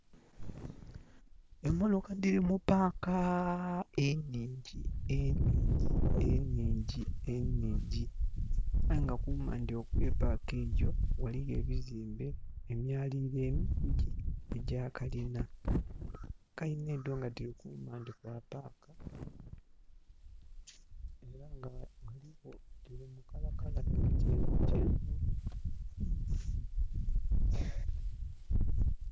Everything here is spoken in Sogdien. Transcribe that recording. Emotoka dhili mu park enhingyi, enhingyi, enhingyi. Aye nga kumaandhi okwe Park eyo, ghaligho ebizimbe, emyaliliro egya kalina. Kalina edho nga dhili kumaandhi kwa park. Era nga dhiligho dhili mu colour colour dha kyenvukyenvu.